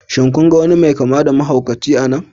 Shin kun ga wani mai kamar da mahaukaci a nan?